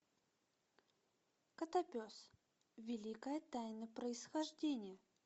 котопес великая тайна происхождения